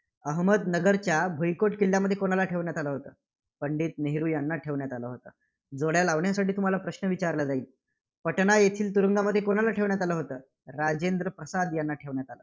अहमदनगरच्या भुईकोट किल्ल्यामध्ये कोणाला ठेवण्यात आलं होतं? पंडित नेहरू यांना ठेवण्यात आलं होतं. जोड्या लावण्यासाठी तुम्हाला प्रश्न विचारला जाईल. पटना येथील तुरुंगात कोणाला ठेवण्यात आलं होतं, राजेंद्र प्रसाद यांना ठेवण्यात आलं होतं.